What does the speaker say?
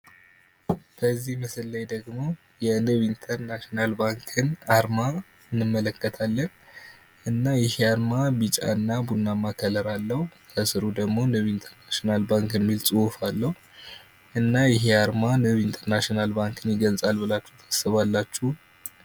በዚህ ምስል ላይ ደግሞ የንብ ኢንተርናሽናል ባንክን አርማ እንመለከታለን እና ይህ አርማ ቢጫና ቡናማ ቀለም አለው ከስሩ ደግሞ ቡና ኢንተርናሽናል ባንክ የሚል ጽሁፋ አለው እና ይህ አርማ ንብ ኢንተርናሽናል ባንክን ይገልፃል ብላችሁ ታስባላችሁ?